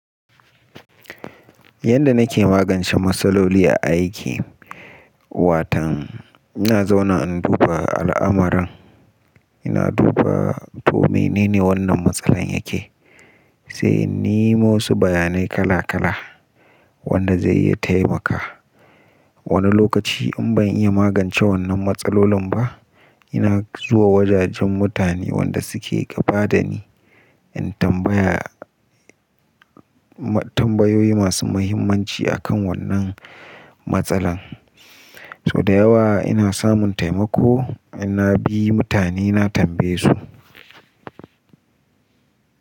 Yanda nake magance matsaloli a aiki, watan ina zauna in duba al'amuran, ina duba to menene wannan matsalar yake, sai in nemo wasu bayanai kala kala wanda zai iya taimaka. Wani lokaci in ban iya magance wannan matsallolin ba, ina zuwa wajajen mutane wanda suke gaba da ni in tambaya tambayoyi masu muhimmanci akan wannan matsalar. To da yawa ina samun taimako in na bi mutane na tambaye su.